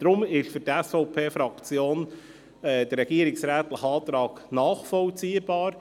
Deshalb ist für die SVP-Fraktion der Antrag der Regierung nachvollziehbar.